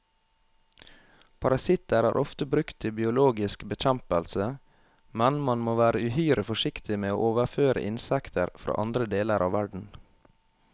Parasitter er ofte brukt til biologisk bekjempelse, men man må være uhyre forsiktig med å overføre insekter fra andre deler av verden.